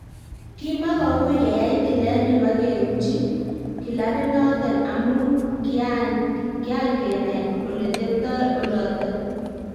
"Kimakiui keyai tilet nebo keuchi kilabinoton, amun kiangen ole teptoi oloton."